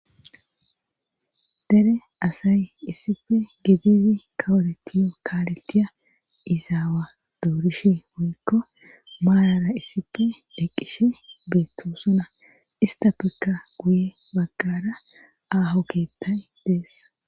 dere asay isipi gedizi kawoletiyo kaalettiya izaawa doorishe woykko maarara isipi eqqishe beettosona ista tokka guye baggara aaho keettay dees